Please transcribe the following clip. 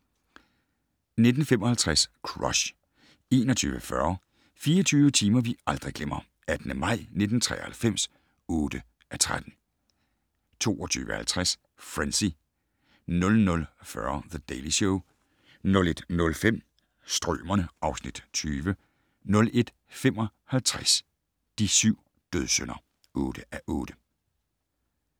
19:55: Crush 21:40: 24 timer vi aldrig glemmer - 18. maj 1993 (8:13) 22:50: Frenzy 00:40: The Daily Show 01:05: Strømerne (Afs. 20) 01:55: De syv dødssynder (8:8)